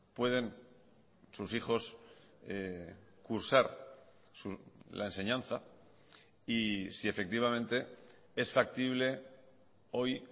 pueden sus hijos cursar la enseñanza y si efectivamente es factible hoy